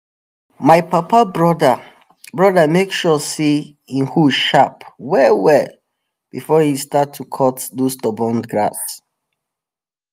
my papa broda broda make sure say hin hoe sharp well well before he start to cut those stubborn grass